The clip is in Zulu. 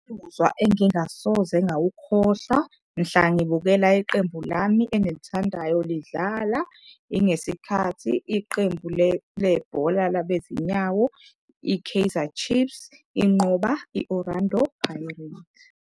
Engingasoze ngawukhohlwa mhla ngibukela iqembu lami engilithandayo lidlala. Ingesikhathi iqembu lebhola labezinyawo i-Kaizer Chiefs inqoba i-Orlando Pirates.